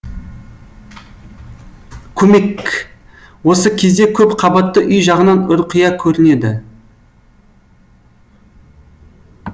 көмек к осы кезде көп қабатты үй жағынан ұрқия көрінеді